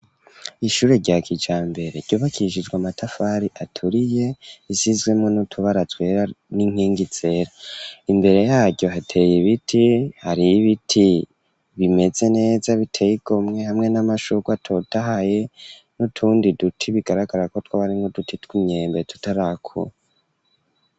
Ishure, rya kijambere, ryubakishijwe amatafari, aturiye, risizwemwo n'utubara twera, n'inkengi zera; imbere yaryo, hateye ibiti, hariho ibiti, bimeze neza, biteye igomwe, hamwe n'amashurwe, atotahaye, n'utundi duti, bigaragara ko, twoba ari nk'uduti tw'imyembe, tutarakura.